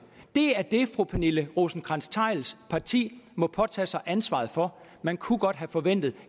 det er det fru pernille rosenkrantz theils parti må påtage sig ansvaret for man kunne godt have forventet